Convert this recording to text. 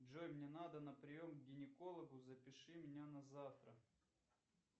джой мне надо на прием к гинекологу запиши меня на завтра